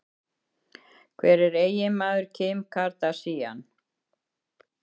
Hver er eiginmaður Kim Kardashian?